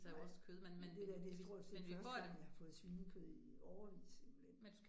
Nej, men det der det stort set første gang, jeg har fået svinekød i årevis simpelthen